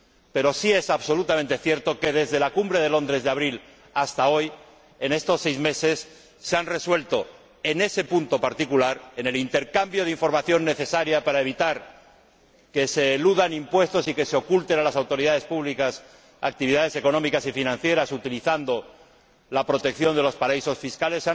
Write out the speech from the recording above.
Pero sí es absolutamente cierto que, desde la Cumbre de Londres de abril hasta hoy, en estos seis meses, se han resuelto, en ese punto particular —en el intercambio de información necesaria para evitar que se eludan impuestos y que se oculten a las autoridades públicas actividades económicas y financieras, utilizando la protección de los paraísos fiscales—